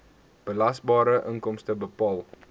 belasbare inkomste bepaal